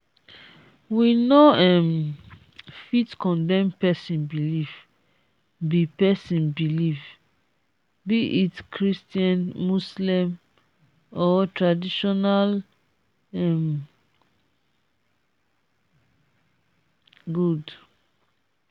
we no um fit condemn pesin belief be pesin belief be it christian muslem or tradition um good.